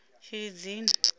tshilidzini